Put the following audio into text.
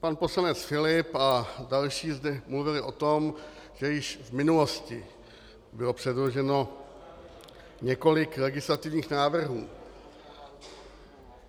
Pan poslanec Filip a další zde mluvili o tom, že již v minulosti bylo předloženo několik legislativních návrhů.